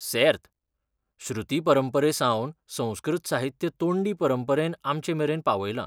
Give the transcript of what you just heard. सेर्त! श्रुती परंपरेसावन संस्कृत साहित्य तोंडी परंपरेन आमचेमेरेन पावयलां.